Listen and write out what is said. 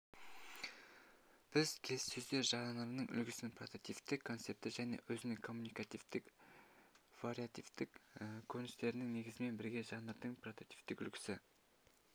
біз келіссөздер жанрының үлгісін прототиптік концепті және өзінің коммуникативтік вариативтік көріністерінің негізімен бірге жанрдың прототиптік үлгісі